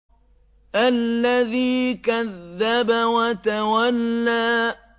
الَّذِي كَذَّبَ وَتَوَلَّىٰ